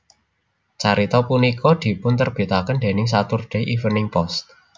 Carita punika dipunterbitaken déning Saturday Evening Post